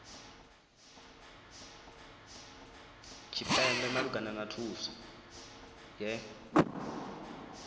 tshipembe malugana na thuso ye